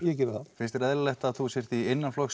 ég geri það finnst þér eðlilegt að þú sért í